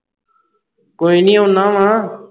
ਕੋਈ ਨਹੀਂ ਆਉਣਾ ਵਾ